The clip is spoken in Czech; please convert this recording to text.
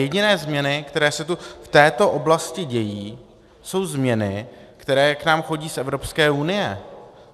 Jediné změny, které se tu v této oblasti dějí, jsou změny, které k nám chodí z Evropské unie.